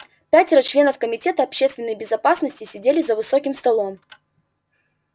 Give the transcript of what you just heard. пятеро членов комитета общественной безопасности сидели за высоким столом